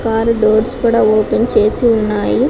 car doors కూడా open చేసి ఉన్నాయి